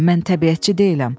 Mən təbiətçi deyiləm.